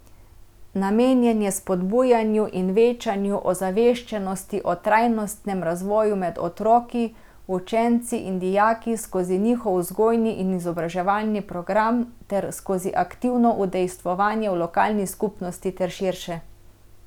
Namenjen je spodbujanju in večanju ozaveščenosti o trajnostnem razvoju med otroki, učenci in dijaki skozi njihov vzgojni in izobraževalni program ter skozi aktivno udejstvovanje v lokalni skupnosti ter širše.